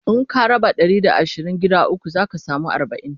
In ka raba Ɗari da asirin gida ukwu zaka samu arbain